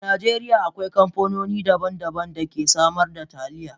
a Najeriya, akwai kamfanoni daban-daban da ke samar da Taliya.